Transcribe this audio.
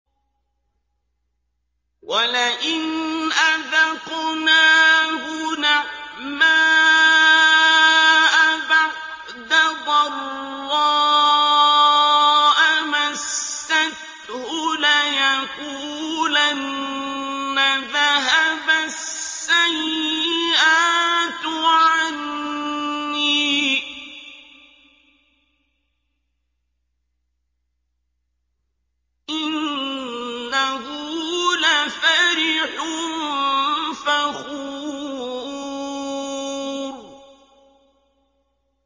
وَلَئِنْ أَذَقْنَاهُ نَعْمَاءَ بَعْدَ ضَرَّاءَ مَسَّتْهُ لَيَقُولَنَّ ذَهَبَ السَّيِّئَاتُ عَنِّي ۚ إِنَّهُ لَفَرِحٌ فَخُورٌ